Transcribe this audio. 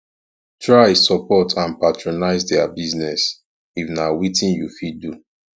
try support and patronise their business if na wetin you fit do